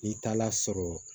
N'i taala sɔrɔ